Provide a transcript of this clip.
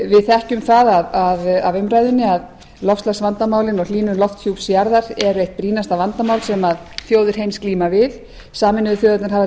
við þekkjum það af umræðunni að loftslagsvandamálin og hlýnun lofthjúps jarðar eru eitt brýnasta vandamál sem þjóðir heims glíma við sameinuðu þjóðirnar hafa